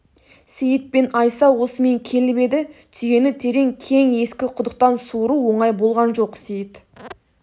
сейіт пен айса осымен келіп еді түйені терең кең ескі құдықтан суыру оңай болған жоқ сейіт